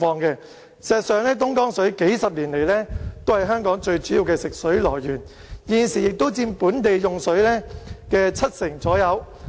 事實上，東江水數十年來都是香港最主要的食水來源，現時亦佔本地用水的七成左右。